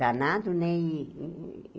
Danado, né? e